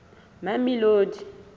mamelodi